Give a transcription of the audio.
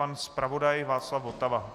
Pan zpravodaj Václav Votava.